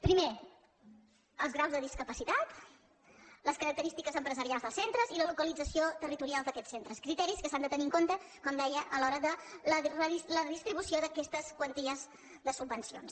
primer els graus de discapacitat les característiques empresarials dels centres i la localització territorial d’aquests centres criteris que s’han de tenir en compte com deia a l’hora de la distribució d’aquestes quanties de subvencions